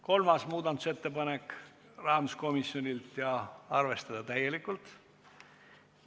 Kolmas muudatusettepanek – rahanduskomisjonilt ja arvestatud täielikult.